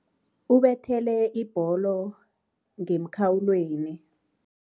Ubethele ibholo ngemkhawulweni.